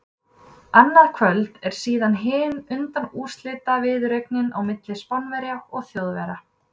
Annað kvöld er síðan hin undanúrslitaviðureignin á milli Spánverja og Þjóðverja.